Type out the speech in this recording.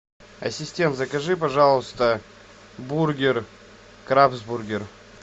ассистент закажи пожалуйста бургер крабсбургер